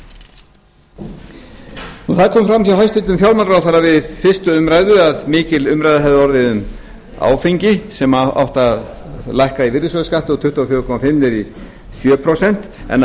kom fram hjá hæstvirtum fjármálaráðherra við fyrstu umræðu að mikil umræða hefði orðið um áfengi sem átti að lækka í virðisaukaskatti um tuttugu og fjögur komma fimm niður í sjö prósent en á